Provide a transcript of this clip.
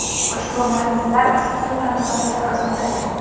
ushbu manzillar issiq suv ta’minotidan uzilmaydi.